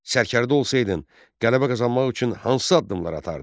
Sərkərdə olsaydın, qələbə qazanmaq üçün hansı addımlar atardın?